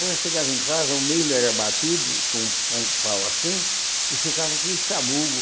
Quando eu chegava em casa, o milho era batido com um um pau assim, e ficava aquele sabugo.